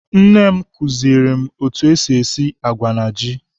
Nne m kụziere m etu esi agwa na ji.